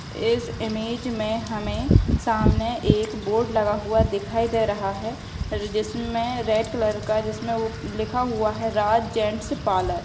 इस इमेज में हमें सामने एक बोर्ड लगा हुआ दिखाई दे रहा है जिसमें रेड कलर का जिसमें उ लिखा हुआ है राज जेंट्स पार्लर ।